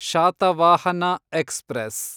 Satavahana express